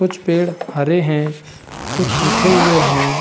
कुछ पेड़ हरे हैं कुछ सूखे हुए हैं।